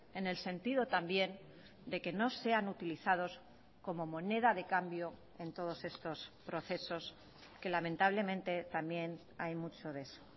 en el sentido también de que no sean utilizados como moneda de cambio en todos estos procesos que lamentablemente también hay mucho de eso